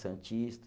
Santista.